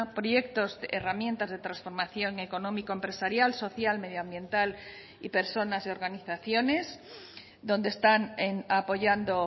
proyectos herramientas de transformación económico empresarial social medioambiental y personas y organizaciones donde están apoyando